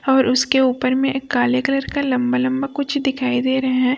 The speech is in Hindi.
और उसके ऊपर में एक काले कलर का लंबा लंबा कुछ दिखाई दे रहे हैं।